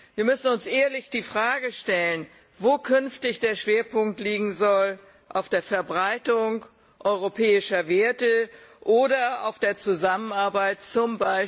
Wir müssen uns ehrlich die Frage stellen, wo künftig der Schwerpunkt liegen soll auf der Verbreitung europäischer Werte oder auf der Zusammenarbeit z.